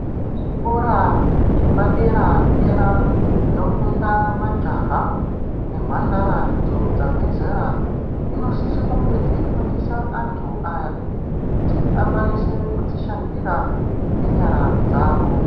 Zvikora zvepadera-dera zvinofunda majaha nemhandara idzo dzabve zera. Dzinosise kunge dzeifundisa antu aya kuti akwanise kudzishandira ngenyara dzavo.